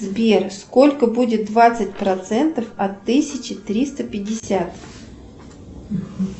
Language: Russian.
сбер сколько будет двадцать процентов от тысячи триста пятьдесят